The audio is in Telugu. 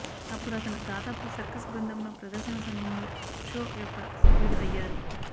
అప్పుడు అతను దాదాపు సర్కస్ బృందంలో ప్రదర్శన సమయంలో షో యొక్క సభ్యుడు అయ్యారు